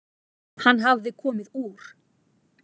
Hann hafði komið úr